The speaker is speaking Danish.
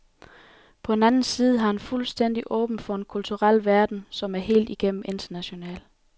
På den anden side var han fuldstændig åben for en kulturel verden, som er helt igennem international.